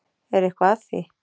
Er eitthvað að því?